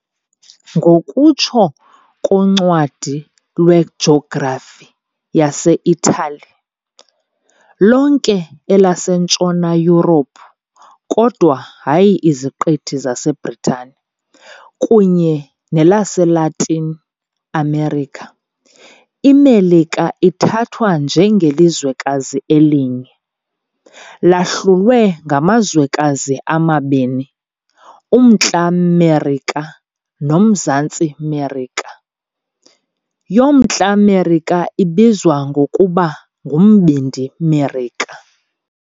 Ngokutsho koncwadi lwejografi yaseItali, lonke elaseNtshona Yurophu, kodwa hayi iZiqithi zaseBritani, kunye nelaseLatin America, iMelika ithathwa njengelizwekazi elinye, lahlulwe yangamazwekazi amabini - uMntla Merika noMzantsi Merika, yoMntla Merika ibizwa ngokuba nguMbindi Merika.